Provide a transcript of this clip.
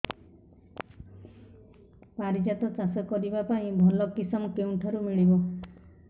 ପାରିଜାତ ଚାଷ କରିବା ପାଇଁ ଭଲ କିଶମ କେଉଁଠାରୁ ମିଳିବ